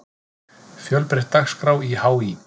Fjölbreytt dagskrá í HÍ